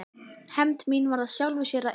Hefnd mín varð af sjálfu sér að engu.